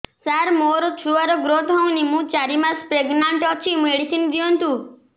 ସାର ମୋର ଛୁଆ ର ଗ୍ରୋଥ ହଉନି ମୁ ଚାରି ମାସ ପ୍ରେଗନାଂଟ ଅଛି ମେଡିସିନ ଦିଅନ୍ତୁ